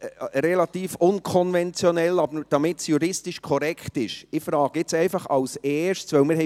Relativ unkonventionell, aber damit es juristisch korrekt ist, frage ich nun einfach als Erstes, ob das Eintreten bestritten ist.